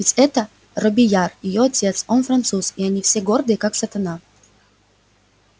ведь этот робийяр её отец он француз а они все гордые как сатана